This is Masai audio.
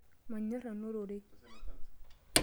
Manyorr nanu ororei.